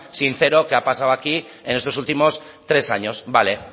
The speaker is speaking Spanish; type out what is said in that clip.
sincero que ha pasado aquí en estos últimos tres años vale